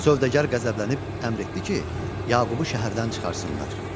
Sövdəgər qəzəblənib əmr etdi ki, Yaqubu şəhərdən çıxartsınlar.